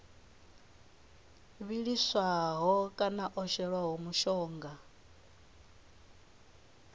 vhiliswaho kana o shelwaho mushonga